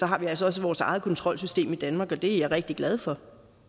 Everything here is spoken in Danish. har vi altså også vores eget kontrolsystem i danmark og det er jeg rigtig glad for